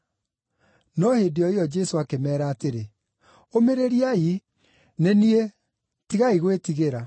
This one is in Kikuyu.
No hĩndĩ o ĩyo Jesũ akĩmeera atĩrĩ, “Ũmĩrĩriai! Nĩ niĩ. Tigai gwĩtigĩra.”